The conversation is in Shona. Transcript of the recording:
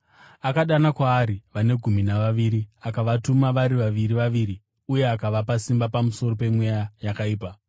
Akadana kwaari vane gumi navaviri akavatuma vari vaviri vaviri uye akavapa simba pamusoro pemweya yakaipa.